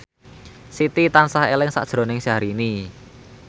Siti tansah eling sakjroning Syahrini